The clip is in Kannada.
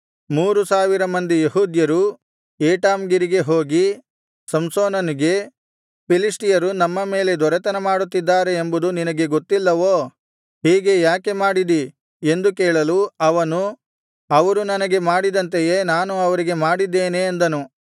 ಮೂರು ಸಾವಿರ ಮಂದಿ ಯೆಹೂದ್ಯರು ಏಟಾಮ್ ಗಿರಿಗೆ ಹೋಗಿ ಸಂಸೋನನಿಗೆ ಫಿಲಿಷ್ಟಿಯರು ನಮ್ಮ ಮೇಲೆ ದೊರೆತನಮಾಡುತ್ತಿದ್ದಾರೆ ಎಂಬುದು ನಿನಗೆ ಗೊತ್ತಿಲ್ಲವೋ ಹೀಗೆ ಯಾಕೆ ಮಾಡಿದಿ ಎಂದು ಕೇಳಲು ಅವನು ಅವರು ನನಗೆ ಮಾಡಿದಂತೆಯೇ ನಾನು ಅವರಿಗೆ ಮಾಡಿದ್ದೇನೆ ಅಂದನು